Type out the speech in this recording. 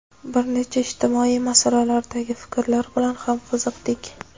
bir nechta ijtimoiy masalalardagi fikrlari bilan ham qiziqdik.